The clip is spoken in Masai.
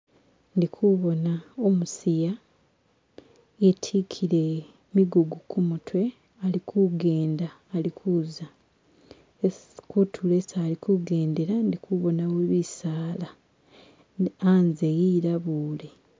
ndikubona umusiya itikile migugu kumutwe alikugenda alikuza kutulo isi alikugendela ndikubonamo bisaala anze ilabule